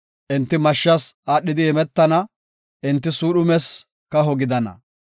Enti mashshas aadhidi imetana; enti suudhumes kaho gidana.